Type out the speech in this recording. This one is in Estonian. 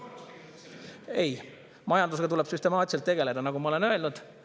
Ei, majandusega tuleb süstemaatiliselt tegeleda, nagu ma olen öelnud.